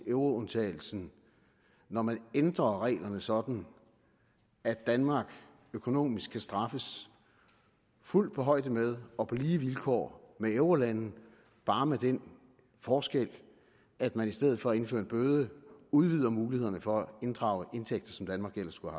euroundtagelsen når man ændrer reglerne sådan at danmark økonomisk kan straffes fuldt på højde med og på lige vilkår med eurolande bare med den forskel at man i stedet for at indføre en bøde udvider mulighederne for at inddrage indtægter som danmark ellers skulle